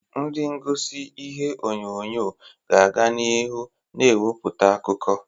Ndị egosi ihe onyonyo ga-aga n'ihu na-ewepụta akụkọ.